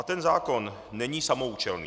A ten zákon není samoúčelný.